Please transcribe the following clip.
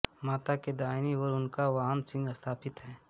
माता की दाहिनी ओर उनका वाहन सिंह स्थापित है